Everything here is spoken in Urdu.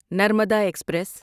نرمدا ایکسپریس